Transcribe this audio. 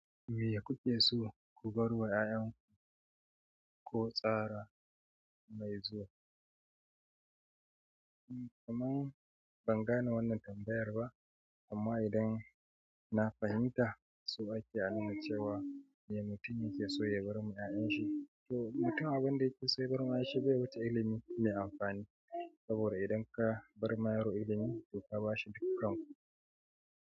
Me kuke so ku barwa yayanku ko tsara mai zuwa amma ban gane wannan tambayar ba amma idan na fahimta so ake anuna cewa me mutum yake so ya bar ma ‘ya’yanshi. To mutum abin da yake so ya bar ma ‘ya’yanshi shi bai wuce ilimi mai amfani. Saboda idan ka barma yaro ilimi to ka bashi dukkan.